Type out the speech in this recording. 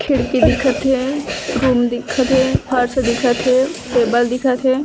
खिड़की दिखत हे रूम दिखत हे फर्श दिखत हे टेबल दिखत हे।